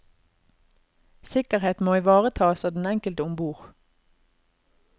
Sikkerhet må ivaretas av den enkelte ombord.